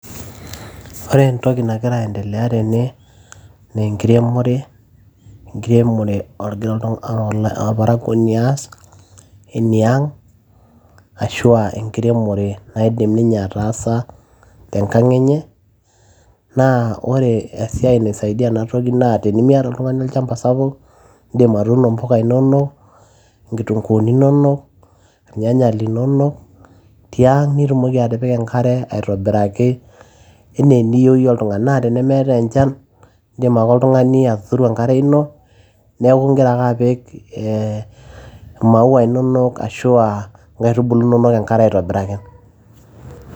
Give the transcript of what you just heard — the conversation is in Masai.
Ore entoki nagira aiendelea tene naa enkiremore egira orparakuoni aas eniang arashu aa enkiremore naidim ninye aa ataasa te nkang enye naa ore esia naisaidia enatoki naa tenimiata oltung'ani olchamba sapuk iindim atuuno impula inonok oo inkituunkuni inonok ilnyanya linonok ti ang nitumoki atipika enkare aitobiraki anaa eniyieu iyie , naa tenemeetae enchan indim ake oltung'ani atuturu enkare ino neeku igira ake apik imaua inonok arashu inkaitubulu inonok enkare aitobiraki.